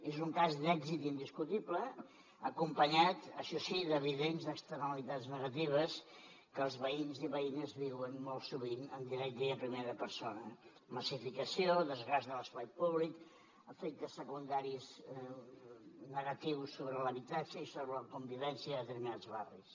és un cas d’èxit indiscutible acompanyat això sí d’evident externalitats negatives que els veïns i veïnes viuen molt sovint en directe i en primera persona massificació desgast de l’espai públic efectes secundaris negatius sobre l’habitatge i sobre la convivència en determinats barris